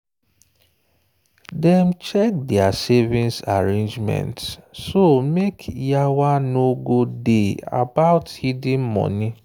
dem check their savings arrangements so make yawa no go day about hidden money.